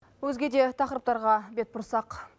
өзге де тақырыптарға бет бұрсақ